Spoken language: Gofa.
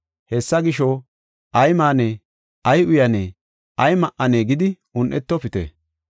Hessa gisho, ‘Ay maanee? Ay uyanee? Ay ma7anee?’ gidi un7etofite.